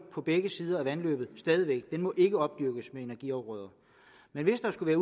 på begge sider af vandløbet den må ikke opdyrkes med energiafgrøder men hvis der skulle